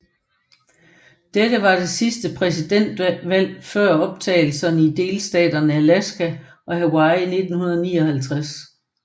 Dette var det sidste præsidentvalg før optagelserne af delstaterne Alaska og Hawaii i 1959